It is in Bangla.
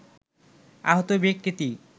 আহত ব্যক্তিটি